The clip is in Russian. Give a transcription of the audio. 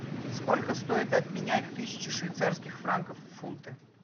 сколько стоит обменять тысячу швейцарских франков в фунты